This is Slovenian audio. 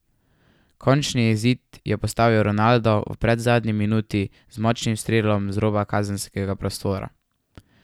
Končni izid je postavil Ronaldo v predzadnji minuti z močnim strelom z roba kazenskega prostora.